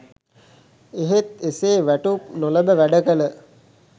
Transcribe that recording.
එහෙත් එසේ වැටුප් නොලැබ වැඩ කළ